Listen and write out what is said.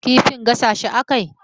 Kifin gasa shi a kai?